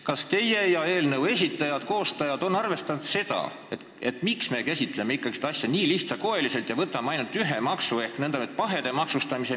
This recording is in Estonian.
Kas eelnõu esitajad ja konkreetsed koostajad on mõelnud, miks me käsitleme kogu probleemi nii lihtsakoeliselt ja peame silmas ainult ühte maksu, nn pahede maksustamist?